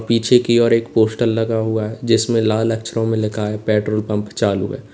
पीछे की ओर एक पोस्टर लगा हुआ है जिसमें लाल अक्षरों में लिखा है पेट्रोल पंप चालू है।